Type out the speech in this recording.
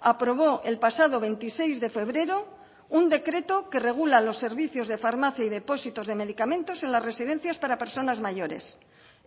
aprobó el pasado veintiséis de febrero un decreto que regula los servicios de farmacia y depósitos de medicamentos en las residencias para personas mayores